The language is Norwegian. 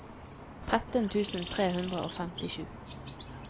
tretten tusen tre hundre og femtisju